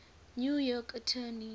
new york attorney